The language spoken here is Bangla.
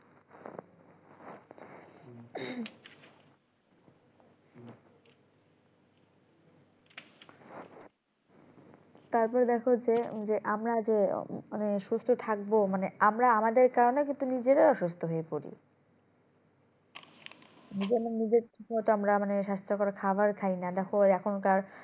তারপর দেখো যে যে আমরা যে আহ মানে সুস্থ থাকবো মানে আমরা আমাদের কারণে কিন্তু নিজেরা অসুস্থ হয়ে পড়ি নিজেরা নিজের ঠিক মতো আমরা মানে স্বাস্থকর খাবার খাইনা দেখো এখন কার